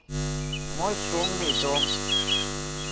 мой шумный дом